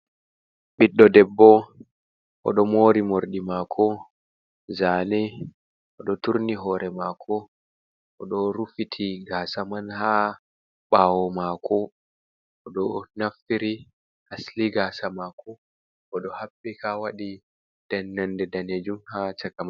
Ɓiɗɗo debbo, oɗo mori morɗi mako zane, oɗo turni hore mako, oɗo rufiti gasaman ha ɓawo mako oɗo naftiri asli gasa mako, oɗo haɓɓika waɗi dannande danejum ha cakaman.